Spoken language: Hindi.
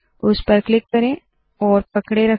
उस पर क्लिक करे और पकडे रखे